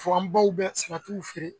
Fo an baw bɛ salatiw feere